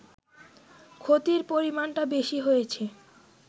ক্ষতির পরিমাণটা বেশি হয়েছে